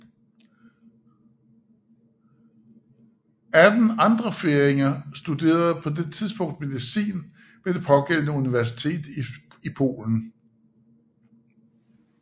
Atten andre færinger studerede på det tidspunkt medicin ved det pågældende universitet i Polen